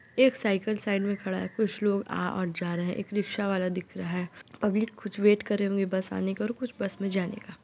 एक cycle side मे खड़ा है कुछ लोग आ और जा रहे हैं | एक रिक्शा वाला दिख रहा है | पब्लिक कुछ वेट कर रहे होंगे बस आने का और कुछ बस मे जाने का।